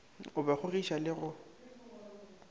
o ba kgogiša le go